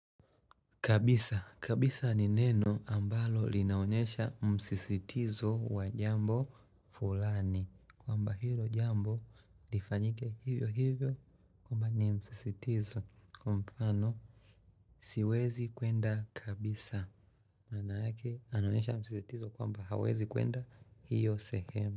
Kabisa. Kabisa ni neno ambalo linaonyesha msisitizo wa jambo fulani. Kwamba hilo jambo lifanyike hivyo hivyo. Kwamba ni msisitizo. Kwa mfano siwezi kwenda kabisa. Maana yake anaonyesha msisitizo kwamba hawezi kwenda hiyo sehemu.